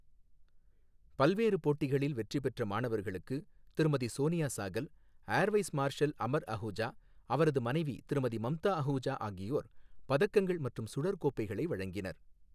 பல்வேறு போட்டிகளில் வெற்றி பெற்ற மாணவர்களுக்கு திருமதி சோனியா சாகல், ஏர்வைஸ் மார்ஷல் அமர் அஹூஜா, அவரது மனைவி திருமதி மம்தா அஹூஜா ஆகியோர் பதக்கங்கள் மற்றும் சுழற்கோப்பைகளை வழங்கினர்.